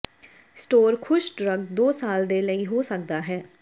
store ਖੁਸ਼ਕ drug ਦੋ ਸਾਲ ਦੇ ਲਈ ਹੋ ਸਕਦਾ ਹੈ